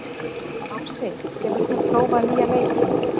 Ási, hefur þú prófað nýja leikinn?